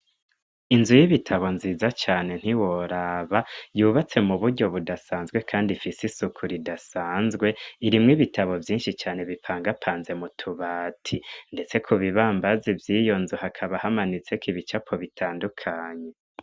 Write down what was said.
Inzu y'ibitabo nziza cane ntiworaba yubatse mu buryo budasanzwe, kandi ifise isuku ridasanzwe irimwo ibitabo vyinshi cane bipangapanze mu tubati, ndetse ku bibambazi vy'iyonzu hakaba hamanitseko ibicapo bitandukanye.